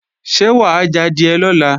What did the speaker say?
Ṣé wà á jadìẹ lọ́la?